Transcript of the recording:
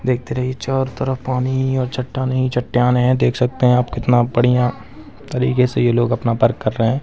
देखते रहिये चारों तरफ पानी ही और चट्टानें ही चट्टाने है देख सकते है आप कितना बढ़िया तरीके से ये लोग अपना वर्क कर रहे है।